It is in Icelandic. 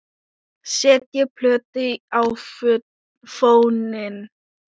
Setjið plötu á fóninn.